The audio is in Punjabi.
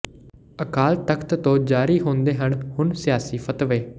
ਅਕਾਲ ਤਖ਼ਤ ਤੋਂ ਜਾਰੀ ਹੁੰਦੇ ਹਨ ਹੁਣ ਸਿਆਸੀ ਫ਼ਤਵੇ